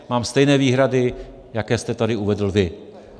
Mám stejné výhrady, jaké jste tady uvedl vy.